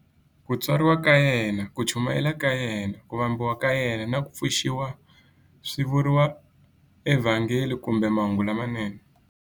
Ku tswariwa ka yena, ku chumayela ka yena, ku vambiwa ka yena, na ku pfuxiwa swi vuriwa eVhangeli kumbe"Mahungu lamanene".